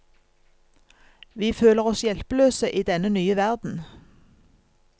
Vi føler oss hjelpeløse i denne nye verden.